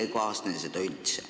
Või ei kaasne seda üldse?